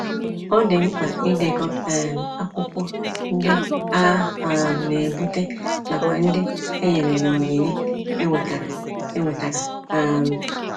Ọ dị mkpa idekọ um akwụkwọ ndị a um na-ebute nakwa ndị enyere na onyinye e nwetara. e nwetara. um